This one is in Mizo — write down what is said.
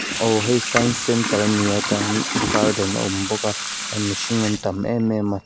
aw heihi science center ani a tah hian garden a awm bawk a tah hian mihring an tam emem a.